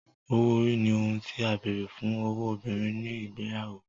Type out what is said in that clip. owó ori ní ohùn tí a béèrè fún ọwọ obìrin ní igbeyawo